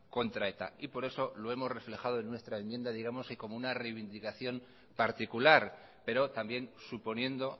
contra eta por eso lo hemos reflejado en nuestra enmienda digamos que como una reivindicación particular pero también suponiendo